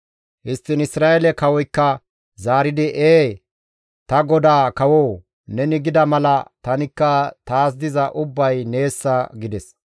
Histtiin Isra7eele kawoykka zaaridi, «Ee, ta godaa kawoo! Neni gida mala tanikka taas diza ubbay neessa» gides.